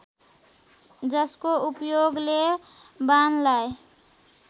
जसको उपयोगले बाणलाई